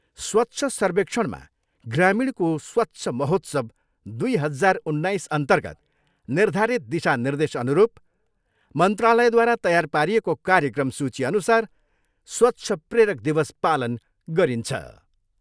स्वच्छ सर्वेक्षणमा ग्रामिणको स्वच्छ महोत्सव दुई हजार उन्नाइसअन्तर्गत निर्धारित दिशानिर्देशअनुरूप मन्त्रालयद्वारा तयार पारिएको कार्यक्रम सुचीअनुसार स्वच्छ प्रेरक दिवस पालन गरिन्छ।